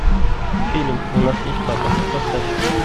фильм у нас есть папа поставь